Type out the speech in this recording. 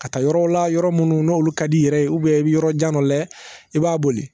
Ka taa yɔrɔ la yɔrɔ minnu n'olu ka d'i yɛrɛ ye i bɛ yɔrɔ jan dɔ la i b'a boli